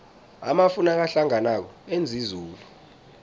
amafu nakahlanganako enza izulu